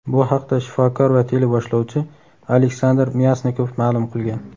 Bu haqda shifokor va teleboshlovchi Aleksandr Myasnikov ma’lum qilgan.